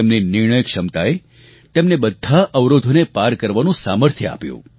તેમની નિર્ણયક્ષમતાએ તેમને બધા અવરોધોને પાર કરવાનું સામર્થ્ય આપ્યું